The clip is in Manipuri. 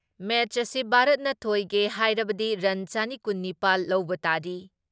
ꯃꯦꯠꯁ ꯑꯁꯤ ꯚꯥꯔꯠꯅ ꯊꯣꯏꯒꯦ ꯍꯥꯏꯔꯕꯗꯤ ꯔꯟ ꯆꯅꯤ ꯀꯨꯟ ꯅꯤꯄꯥꯜ ꯂꯧꯕ ꯇꯥꯔꯤ ꯫